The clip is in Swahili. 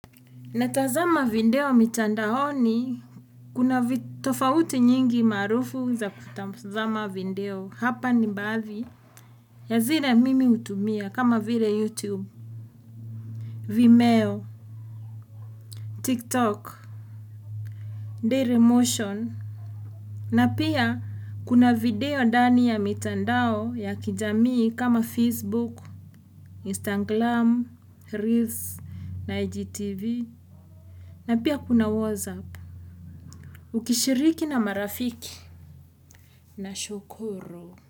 Natazama video mitandaoni kuna tofauti nyingi maarufu za kutazama video hapa ni baadhi. Ya zile mimi hutumia kama vile YouTube, Vimeo, TikTok, Dailymotion. Na pia kuna video ndani ya mitandao ya kijamii kama Facebook, Instagram, Reels na IGTV. Na pia kuna WhatsApp. Ukishiriki na marafiki. Nashukuru.